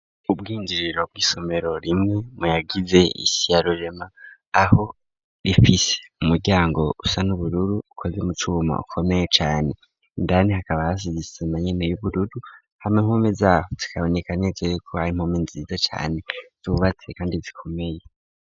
Ubwinjiriro bw'isomero rimwe mu yagize isi ya rurema aho rifise umuryango usa n'ubururu ukoze mu cuma ukomeye cane, indani hakaba hasize isima nyene y'ubururu, hama impome zaho zikaboneka neza yuko ari impome nziza cane zubatse kandi zikomeye.